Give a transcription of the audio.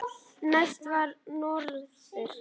Næstur var norður.